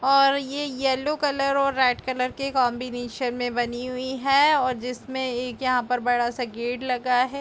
और ये yellow colour और व्हाइट कलर के कॉम्बिनेशन मे बनी हुई है और जिसपे एक यहाँ पे बड़ा सा गेट लगा है।